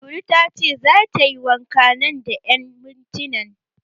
Lulu tace zata yi wanka nan da ƴan mintinan.